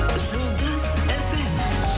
жұлдыз фм